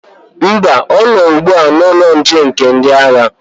Mba, ọ nọ ugbu a n'ụlọ nche nke ndị agha.